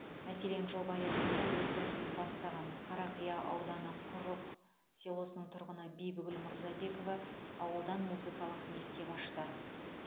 мәселен жоба аясында өз кәсібін бастаған қарақия ауданы құрық селосының тұрғыны бибігүл мырзабекова ауылдан музыкалық мектеп ашты